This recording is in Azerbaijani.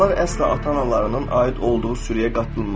Onlar əsla ata-analarının aid olduğu sürüyə qatılmaz.